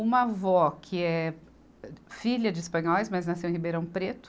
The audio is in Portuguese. Uma avó que é filha de espanhóis, mas nasceu em Ribeirão Preto.